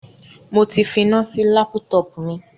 Mo ti finá sí lápútọpù mi.